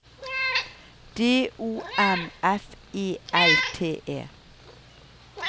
D O M F E L T E